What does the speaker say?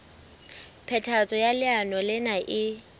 phethahatso ya leano lena e